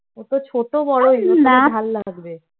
ছোট বড় হ্যাঁ তা ভাল লাগবে